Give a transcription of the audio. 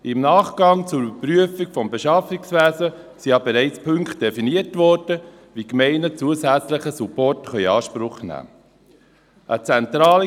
Im Nachgang zur Überprüfung des Beschaffungswesens wurden ja bereits Punkte definiert, wie Gemeinden zusätzlichen Support in Anspruch nehmen können.